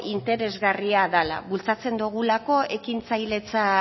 interesgarria dala bultzatzen dogulako ekintzailetza